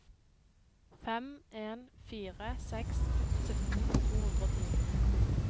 fem en fire seks sytten to hundre og ti